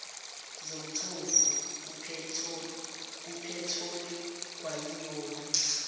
zomthofu kuphetholo kwayiyona